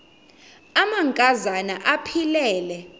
amanka zana aphilele